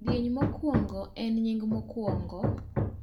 kidieny mokwongo en nying mokwongo